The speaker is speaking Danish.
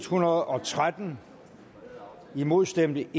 hundrede og tretten imod stemte